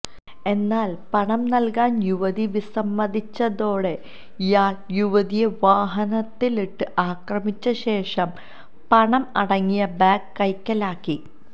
എന്നാല് പണം നല്കാന് യുവതി വിസമ്മതിച്ചതോടെ ഇയാള് യുവതിയെ വാഹനത്തിലിട്ട് ആക്രമിച്ച ശേഷം പണം അടങ്ങിയ ബാഗ് കൈക്കലാക്കി